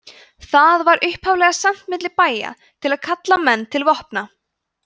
það var upphaflega sent milli bæja til að kalla menn til vopna